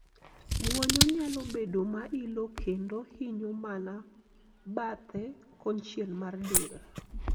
gwonyo nyalo bedo ma ilo kendo hinyo mana bathe konchiel mar del